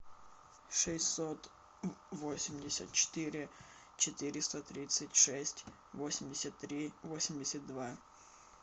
шестьсот восемьдесят четыре четыреста тридцать шесть восемьдесят три восемьдесят два